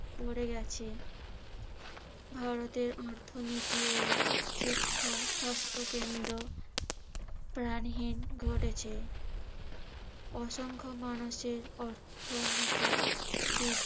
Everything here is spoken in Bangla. করে গেছে। ভারতের অর্থনীতি ও শিক্ষা, স্বাস্থ্যকেন্দ্র প্রাণহীন ঘটেছে। অসংখ্য মানুষের অর্থনীতিবিদ